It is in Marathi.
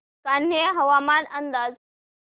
कान्हे हवामान अंदाज